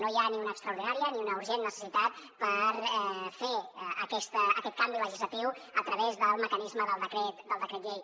no hi ha ni una extraordinària ni una urgent necessitat per fer aquest canvi legislatiu a través del mecanisme del decret llei